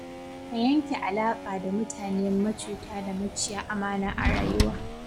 Ka yanke alaƙa da mutane macuta da maciya amana a rayuwa.